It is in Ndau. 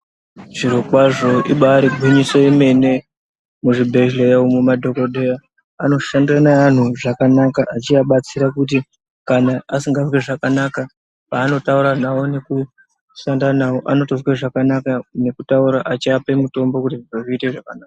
Zvirokwazvo ibaari gwinyiso yemene, muzvibhedhleya umu madhokodheya ,anoshande neaanhu zvakanaka, achiaabatsira kuti asingazwi zvakanaka, paanotaura navo nekushanda navo, anotozwe zvakanaka ,nekutaura achiape mutombo kuti zviro zviite zvakanaka.